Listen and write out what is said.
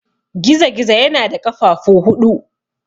Gizo-gizo yana da ƙafafu huɗu.